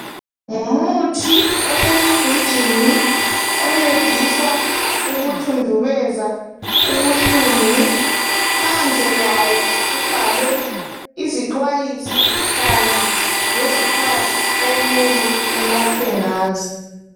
Ngumuthi osesigujini oncedisa ukuthuthundubeza ubuhlungu phandle kwawo kubhalwe izixwayiso kanye lezikhathi okumele unathwe ngazo.